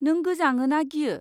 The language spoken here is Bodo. नों गोजाङो ना गियो?